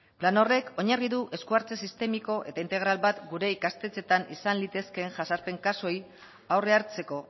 plan horrek oinarri du esku hartze sistemiko eta integral bat gure ikastetxeetan izan litezkeen jazarpen kasuei aurre hartzeko